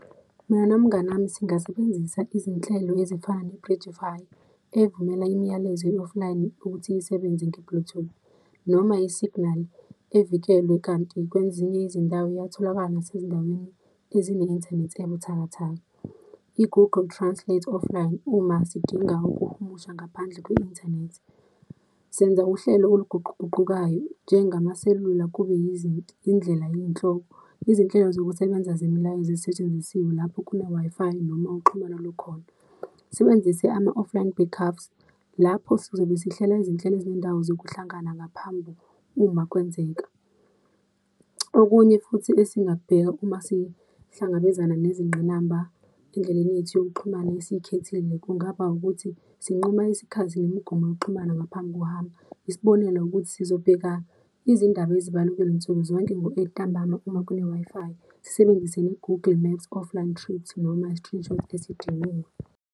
Mina nomngani wami, singasebenzisa izinhlelo ezifana ne-Bridgefy evumela imiyalezo e-offline ukuthi isebenze nge-bluetooth, noma i-signal evikelwe. Kanti kwezinye izindawo iyatholakala nasezindaweni ezine-inthanethi ebuthakathaka. I-Google Translate offline uma sidinga ukuhumusha ngaphandle kwe-inthanethi. Senza uhlelo oluguquguqukayo, njengamaselula kube indlela yey'nhloko, izinhlelo zokusebenza zemilayozo ezisetshenzisiwe lapho kune-Wi-Fi noma uxhumano lukhona. Sebenzise ama-offline back ups lapho sizobe sihlela izinhlelo zendawo zokuhlangana ngaphambi uma kwenzeka. Okunye futhi esingakubheka uma sihlangabezana nezingqinamba endleleni yethu yokuxhumana asiyikhethile, kungaba ukuthi sinquma isikhathi nemigomo yokuxhumana ngaphambi kuhamba. Isibonelo ukuthi, sizobheka izindaba ezibalulekile nsukuzonke ngo-eight ntambama uma kune-Wi-Fi, sisebenzise ne-Google Maps offline trips noma i-screenshot esidingiwe.